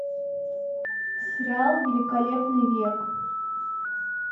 сериал великолепный век